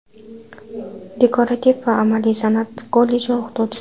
Dekorativ va amaliy san’at kolleji o‘quvchisi.